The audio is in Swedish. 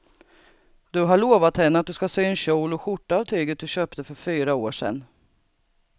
Du har lovat henne att du ska sy en kjol och skjorta av tyget du köpte för fyra år sedan.